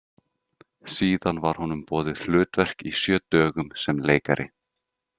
Síðan var honum boðið hlutverk í Sjö dögum sem leikari.